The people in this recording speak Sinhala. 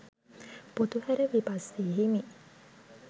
පොතුහැර විපස්සී හිමි